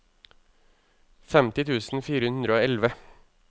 femti tusen fire hundre og elleve